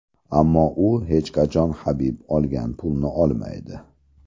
Ammo u hech qachon Habib olgan pulni olmaydi”.